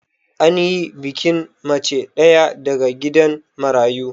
Anyi bikin mace ɗaya daga gidan marayu